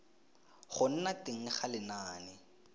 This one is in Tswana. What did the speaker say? go nna teng ga lenane